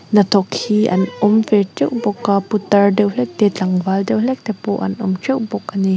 hnathawk hi an awm ve teuh bawk a putar deuh hlek te tlangval deuh hlek te pawh an awm teuh bawk a ni.